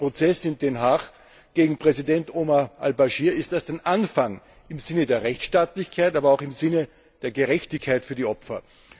Der Prozess in Den Haag gegen Präsident Umar al Baschir ist erst ein Anfang im Sinne der Rechtsstaatlichkeit, aber auch im Sinne der Gerechtigkeit für die Opfer.